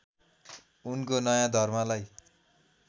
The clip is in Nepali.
उनको नयाँ धर्मलाई